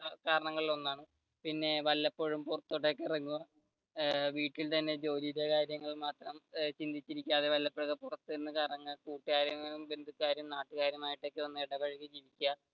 കാരണങ്ങളിൽ ഒന്നാണ് പിന്നെ വല്ലപ്പോഴും പുറത്തോട്ട് ഒക്കെ ഇറങ്ങുക വീട്ടിൽ തന്നെ ജോലിയുടെ കാര്യം മാത്രം ചിന്തിച്ചു ഇരിക്കാതെ വല്ലപ്പോഴും പുറത്തു കറങ്ങുക കൂട്ടുകാരും ബന്ധുക്കാരും നാട്ടുകാരുമായിട്ട് ഒന്ന് ഇടപഴകി ഇരിക്കുക